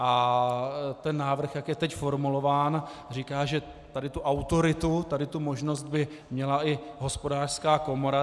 A ten návrh, jak je teď formulován, říká, že tady tu autoritu, tady tu možnost by měla i Hospodářská komora.